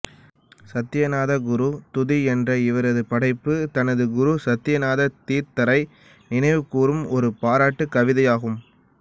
சத்யநாத குரு துதி என்ற இவரது படைப்பு தனது குரு சத்யநாத தீர்த்தரை நினைவுகூரும் ஒரு பாராட்டு கவிதையாகும்